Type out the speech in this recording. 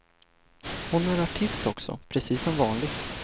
Hon är artist också, precis som vanligt.